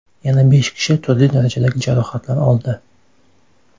Yana besh kishi turli darajadagi jarohatlar oldi.